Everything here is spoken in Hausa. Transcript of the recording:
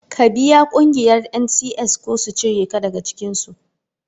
Ka biya ƙungiyar NCS ko u cire ka daga cikinsu.